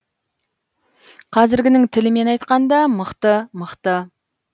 қазіргінің тілімен айтқанда мықты мықты